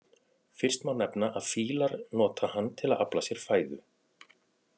Fyrst má nefna að fílar nota hann til að afla sér fæðu.